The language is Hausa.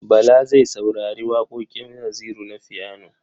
Bala zai saurari waƙoƙin Naziru na fiyano.